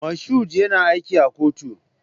Mashood yana aiki a kotu.